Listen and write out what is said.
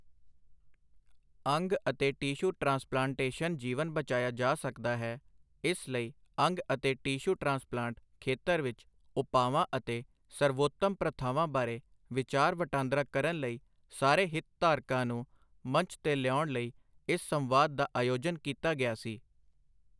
ਅੰਗ ਅਤੇ tissue transplantation ਜੀਵਨ ਬਚਾਇਆ ਜਾ ਸਕਦਾ ਹੈ, ਇਸ ਲਈ ਅੰਗ ਅਤੇ ਟਿਸ਼ੂ ਟ੍ਰਾਂਸਪਲਾਂਟ ਖੇਤਰ ਵਿੱਚ ਉਪਾਵਾਂ ਅਤੇ ਸਰਵਉੱਤਮ ਪ੍ਰਥਾਵਾਂ ਬਾਰੇ ਵਿਚਾਰ ਵਟਾਂਦਰਾ ਕਰਨ ਲਈ ਸਾਰੇ ਹਿੱਤਧਾਰਕਾਂ ਨੂੰ ਮੰਚ ਤੇ ਲਿਆਉਣ ਲਈ ਇਸ ਸੰਵਾਦ ਦਾ ਆਯੋਜਨ ਕੀਤਾ ਗਿਆ ਸੀ।